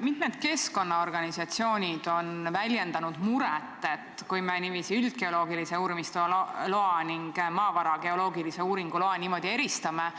Mitmed keskkonnaorganisatsioonid on väljendanud muret, et kui me üldgeoloogilise uurimistöö loa ning maavara geoloogilise uuringu loa niimoodi eristamine,